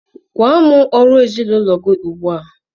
Gwa m ọrụ ezinụlọ gị ugbu a!